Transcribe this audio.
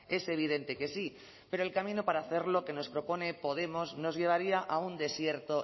es evidente que sí pero el camino para hacerlo que nos propone podemos nos llevaría a un desierto